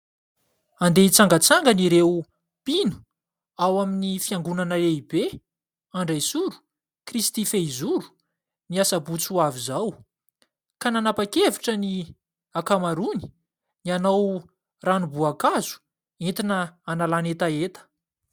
Handeha hitsangatsangana ireo mpino ao amin'ny fiangonana lehibe Andraisoro Kristy fehizoro, ny asabotsy ho avy izao ka nanapa-kevitra ny akamaroany ny hanao ranom-boankazo entina hanalany hetaheta.